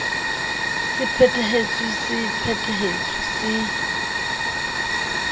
se phethetsweng se phethetsweng se